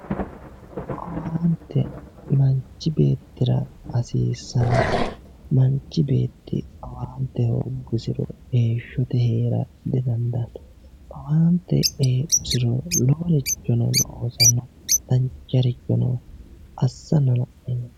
owaante manchi beettira hasiissanno manchi beetti owaante hooggusiro heeshshote heera didandaanno owaante heedhusiro loworicho loosanno duucharichono assanno.